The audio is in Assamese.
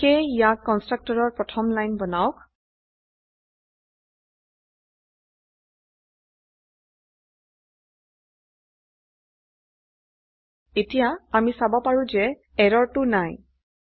সেয়ে ইয়াক কন্সট্ৰকটৰৰ প্ৰথম লাইন বনাওক এতিয়া আমি চাব পাৰো যে এৰৰটো নাই